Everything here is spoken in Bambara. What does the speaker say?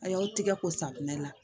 A y'aw tigɛ ko safinɛ la